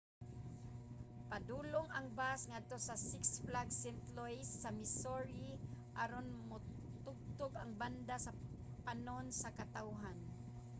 padulong ang bus ngadto sa six flags st. louis sa missouri aron motugtog ang banda sa panon sa katawhan